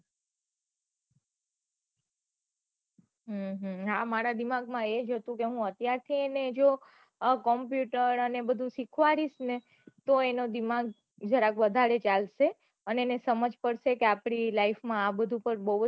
હા મારા દિમાગ માં એજ હતું કે હું અત્યાર થી જો આ computer ને બઘુ સીખવાડીસ ને તો એનું દિમાગ થોડું વઘારે ચાલશે અને એને સમજ પડશે કે આપડી life આ બઘુ તો બહુ હજ